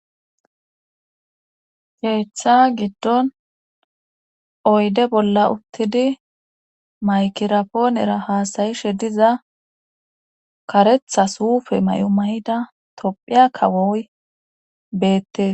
Keeththa giddon oyde bolla uttidi maykirapoonera haasayishe diza karetha suufe may7omayida tophiya kawoy beettes